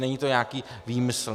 Není to nějaký výmysl.